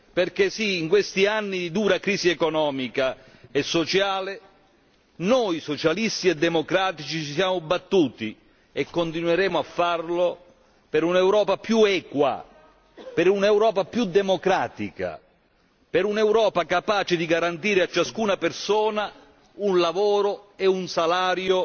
Perché sì, in questi anni di dura crisi economica e sociale noi socialisti e democratici ci siamo battuti, e continueremo a farlo, per un'Europa più equa, per un'Europa più democratica, per un'Europa capace di garantire a ciascuna persona un lavoro e un salario